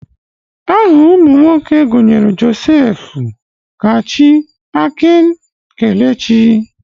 Aha ụmụnwoke gụnyere Josef, kachi, akin, kelechi